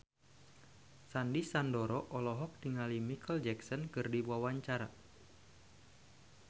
Sandy Sandoro olohok ningali Micheal Jackson keur diwawancara